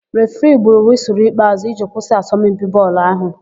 Refiri gburu wịsụlụ ikpeàzụ́ iji kwụsị asọmpi bọọlụ áhụ̀.